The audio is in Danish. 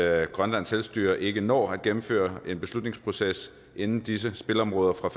at grønlands selvstyre ikke når at gennemføre en beslutningsproces inden disse spilområder fra